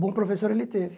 Bom professor ele teve.